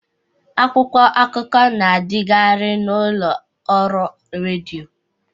Akwụkwọ akụkọ na adikari n'ụlọ ọrụ rediọ.